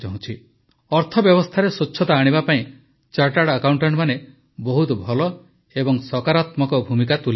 ଅର୍ଥବ୍ୟବସ୍ଥାରେ ସ୍ୱଚ୍ଛତା ଆଣିବା ପାଇଁ ଚାର୍ଟାର୍ଡ ଆକାଉଂଟାଂଟ ମାନେ ବହୁତ ଭଲ ଓ ସକାରାତ୍ମକ ଭୂମିକା ତୁଲାଇପାରିବେ